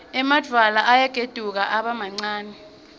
emadvwala ayagedvuka abe mancane